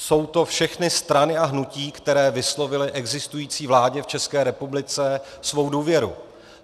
Jsou to všechny strany a hnutí, které vyslovily existující vládě v České republice svou důvěru.